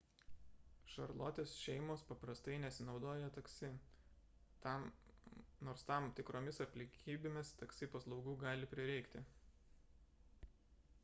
šarlotės šeimos paprastai nesinaudoja taksi nors tam tikromis aplinkybėmis taksi paslaugų gali prireikti